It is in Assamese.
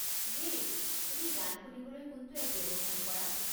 হেই, তুমি গান শুনিবলৈ কোনটো এপ ব্যৱহাৰ কৰা?